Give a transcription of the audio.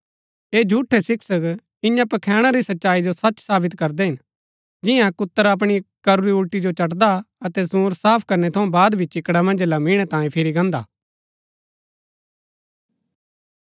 ऐह झूठै शिक्षक इन्या पखैणा री सच्चाई जो सच सावित करदै हिन जियां कुत्र अपणी करूरी उलटी जो चटदा अतै सूअंर साफ करनै थऊँ बाद भी चिकड़ा मन्ज लिमिणै तांई फिरी गाहन्‍दा हा